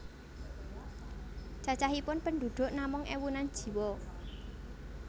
Cacahipun penduduk namung ewunan jiwa